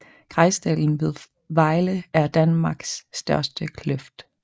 Grejsdalen ved Vejle er Danmarks største kløft